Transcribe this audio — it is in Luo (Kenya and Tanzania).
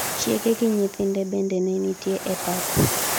chiege gi nyithinde bende ne nitie e pap